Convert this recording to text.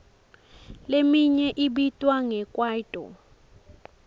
leminye ibitwa nge kwaito